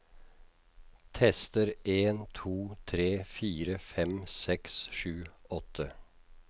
Tester en to tre fire fem seks sju åtte